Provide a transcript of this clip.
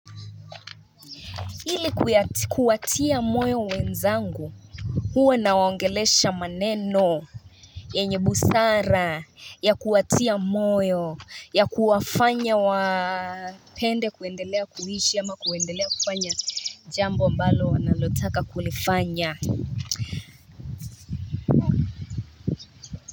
Ili kuwatia moyo wenzangu huwa nawaongelesha maneno yenye busara ya kuwatia moyo ya kuwafanya wapende kuendelea kuhishi ama kuendelea kufanya jambo ambalo wanalotaka kulifanya.